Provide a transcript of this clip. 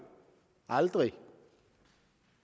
aldrig